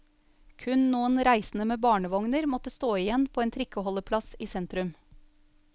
Kun noen reisende med barnevogner måtte stå igjen på en trikkeholdeplass i sentrum.